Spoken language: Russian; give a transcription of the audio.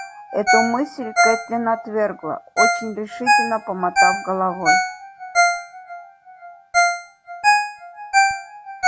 эту мысль кэтлин отвергла очень решительно помотав головой